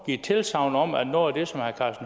givet tilsagn om at noget